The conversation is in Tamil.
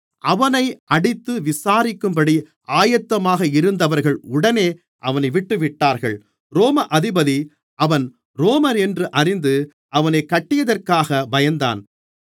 அவனை அடித்து விசாரிக்கும்படி ஆயத்தமாக இருந்தவர்கள் உடனே அவனைவிட்டுவிட்டார்கள் ரோம அதிபதி அவன் ரோமனென்று அறிந்து அவனைக் கட்டியதற்காகப் பயந்தான்